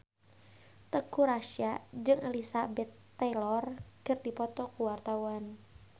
Teuku Rassya jeung Elizabeth Taylor keur dipoto ku wartawan